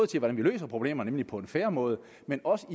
til hvordan vi løser problemerne nemlig på en fair måde men også